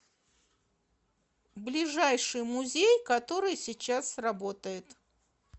ближайший музей который сейчас работает